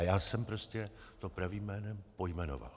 A já jsem to prostě pravým jménem pojmenoval.